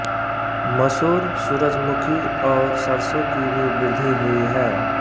मसूर सूरजमुखी और सरसों की भी वृद्धि हुई है